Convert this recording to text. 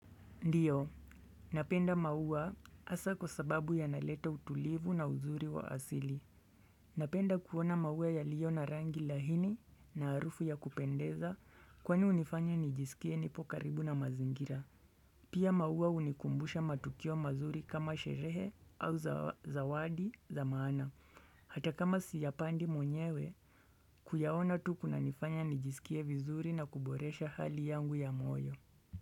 Ndiyo, napenda maua hasa kwa sababu yanaleta utulivu na uzuri wa asili. Napenda kuona maua yaliyo na rangi laini na harufu ya kupendeza kwani hunifanya nijisikie nipo karibu na mazingira. Pia maua hunikumbusha matukio mazuri kama sherehe au zawadi za maana. Hata kama siyapandi mwenyewe, kuyaona tu kunanifanya nijisikie vizuri na kuboresha hali yangu ya moyo.